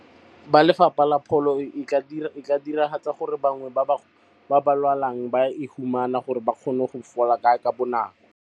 Ba Lefapha la Pholo e tla dira gore bangwe ba ba lwalang ba e humana gore ba kgone go fola ka bonako.